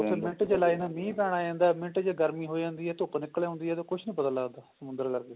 ਉੱਥੇ ਮਿੰਟ ਚ ਮੀਹ ਪੈਣ ਲੱਗ ਜਾਂਦਾ ਮਿੰਟ ਚ ਗਰਮੀ ਹੋ ਜਾਂਦੀ ਹੈ ਧੁੱਪ ਨਿਕਲੇ ਆਉਂਦੀ ਹੈ ਤੇ ਕੁੱਛ ਨਹੀਂ ਪਤਾ ਲੱਗਦਾ ਸਮੁੰਦਰ ਲਾਗੇ